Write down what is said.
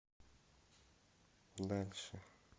дальше